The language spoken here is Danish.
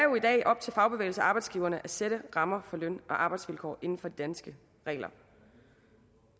op til fagbevægelsen og arbejdsgiverne at sætte rammer for løn og arbejdsvilkår inden for de danske regler